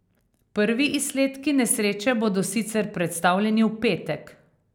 Prvi izsledki nesreče bodo sicer predstavljeni v petek.